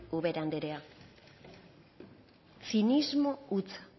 ubera anderea zinismo hutsa